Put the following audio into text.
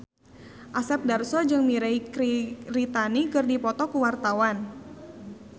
Asep Darso jeung Mirei Kiritani keur dipoto ku wartawan